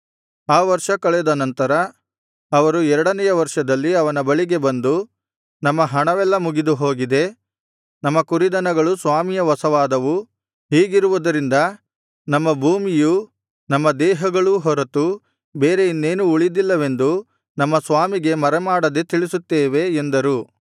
ಆ ವರ್ಷ ಕಳೆದ ನಂತರ ಅವರು ಎರಡನೆಯ ವರ್ಷದಲ್ಲಿ ಅವನ ಬಳಿಗೆ ಬಂದು ನಮ್ಮ ಹಣವೆಲ್ಲಾ ಮುಗಿದು ಹೋಗಿದೆ ನಮ್ಮ ಕುರಿದನಗಳು ಸ್ವಾಮಿಯ ವಶವಾದವು ಹೀಗಿರುವುದರಿಂದ ನಮ್ಮ ಭೂಮಿಯೂ ನಮ್ಮ ದೇಹಗಳೂ ಹೊರತು ಬೇರೆ ಇನ್ನೇನೂ ಉಳಿದಿಲ್ಲವೆಂದು ನಮ್ಮ ಸ್ವಾಮಿಗೆ ಮರೆಮಾಡದೆ ತಿಳಿಸುತ್ತೇವೆ ಎಂದರು